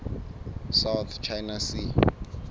south china sea